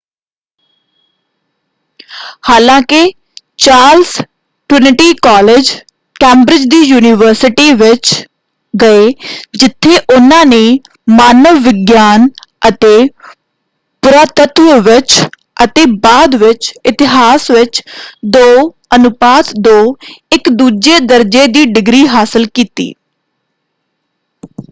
ਹਾਲਾਂਕਿ Charles Trinity College Cambridge ਦੀ university ਵਿੱਚ ਗਏ ਜਿੱਥੇ ਉਹਨਾਂ ਨੇ ਮਾਨਵ ਵਿਗਿਆਨ ਅਤੇ ਪੁਰਾਤੱਤਵ ਵਿੱਚ ਅਤੇ ਬਾਅਦ ਵਿੱਚ ਇਤਿਹਾਸ ਵਿੱਚ 2:2 ਇੱਕ ਦੂਜੇ ਦਰਜੇ ਦੀ ਡਿਗਰੀ ਹਾਸਲ ਕੀਤੀ।